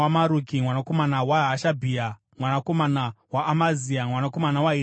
mwanakomana waHashabhia, mwanakomana waAmazia, mwanakomana waHirikia,